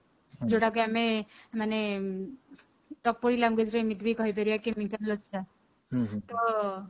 ଯୋଉଟା କି ଆମେ ମାନେ ଟପୋରି language ରେ ଏମିତି ବି କହିପାରିବା ତ